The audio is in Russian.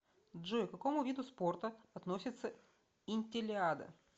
джой к какому виду спорта относится интеллиада